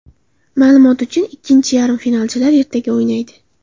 Ma’lumot uchun, ikkinchi yarim finalchilar ertaga o‘ynaydi.